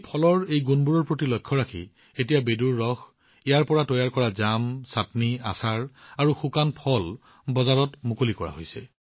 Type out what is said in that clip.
এই ফলৰ এই গুণবোৰৰ প্ৰতি লক্ষ্য ৰাখি এতিয়া বেডুৰ ৰস ইয়াৰ পৰা তৈয়াৰ কৰা জাম চাটনি আচাৰ আৰু ফল শুকুৱাই প্ৰস্তুত কৰি বজাৰত মুকলি কৰা হৈছে